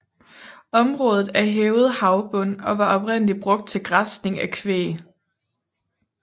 Området er hævet havbund og var oprindeligt brugt til græsning af kvæg